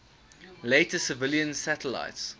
later civilian satellites